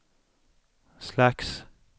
slags